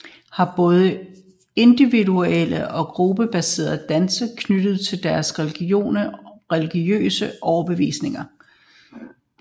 Aymaraerne og atacamaerne har både individuelle og gruppebaserede danse knyttet til deres religiøse overbevisning